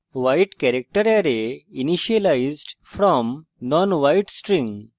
wide character array initialized from nonwide string